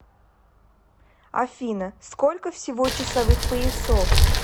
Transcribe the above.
афина сколько всего часовых поясов